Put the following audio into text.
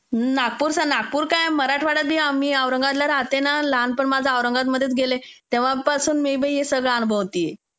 नागपूरचा नागपूर काय मराठवाडा आम्ही औरंगाबादला राहते ना. माझं लहानपण पण औरंगाबाद मध्ये गेले तेव्हापासून मी असे अनुभवते.